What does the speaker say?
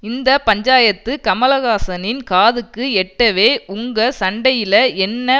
இந்த பஞ்சாயத்து கமல்காசனின் காதுக்கு எட்டவே உங்க சண்டையில என்னை